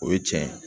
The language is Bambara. O ye cɛn ye